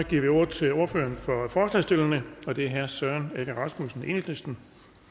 vi ordet til ordføreren for forslagsstillerne og det er herre søren egge rasmussen enhedslisten